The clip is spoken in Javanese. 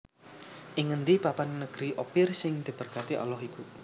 Ing ngendi papan negeri Ophir sing diberkati Allah iku